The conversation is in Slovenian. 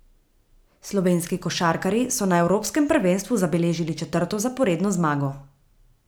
Slovenski košarkarji so na evropskem prvenstvu zabeležili četrto zaporedno zmago.